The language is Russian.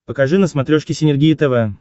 покажи на смотрешке синергия тв